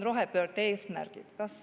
Rohepöörde eesmärgid.